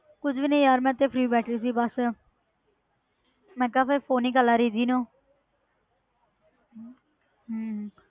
ਕੁੱਝ ਨੀ ਯਾਰ ਮੈਂ ਤੇ free ਬੈਠੀ ਸੀ ਬਸ ਮੈਂ ਕਿਹਾ ਫਿਰ phone ਹੀ ਕਰ ਲਵਾਂ ਰਿੱਧੀ ਨੂੰ ਹਮ ਹਮ